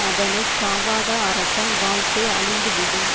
அதனை காவாத அரசன் வாழ்க்கை அழிந்து விடும்